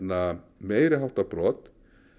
meiri háttar brot